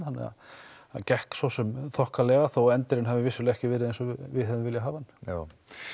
þannig að það gekk svosem þokkalega þó endirinn hafi ekki verið eins og við hefðum viljað hafa hann já